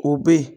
O be yen